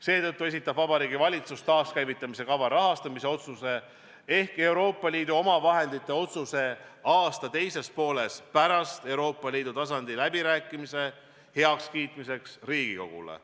Seetõttu esitab Vabariigi Valitsus taaskäivitamise kava rahastamise otsuse ehk Euroopa Liidu omavahendite otsuse aasta teises pooles pärast Euroopa Liidu tasandil peetavate läbirääkimiste toimumist heakskiitmiseks Riigikogule.